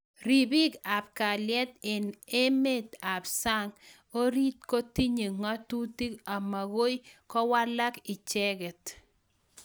Ripik ap kalyet eng sang neboo emeet oriit kotinyee ng'atitik amgoi kowalak icheget